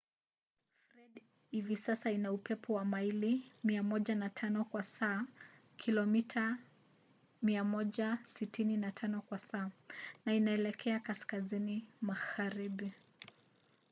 fred hivi sasa ina upepo wa maili 105 kwa saa kilomita 165 kwa saa na inaelekea kaskazini magharibi